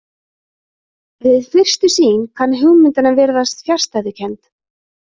Við fyrstu sýn kann hugmyndin að virðast fjarstæðukennd.